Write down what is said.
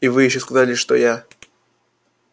и вы ещё сказали что я